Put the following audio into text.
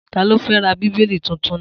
Ta ló fẹ́ ra Bíbélì tuntun náà?